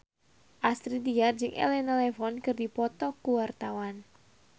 Astrid Tiar jeung Elena Levon keur dipoto ku wartawan